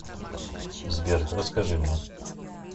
сбер расскажи мне